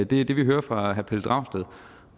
det det vi hører fra herre pelle dragsted